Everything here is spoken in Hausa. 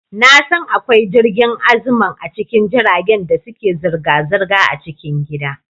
Na san akwai jirgin Aziman a cikin jiragen da suke zirga-zirga a cikin gida.